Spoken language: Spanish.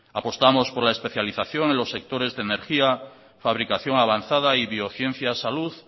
apostamos por la especialización en los sectores de energía fabricación avanzada y biociencia salud